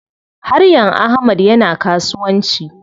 Haryan Ahmad yana kasuwanci.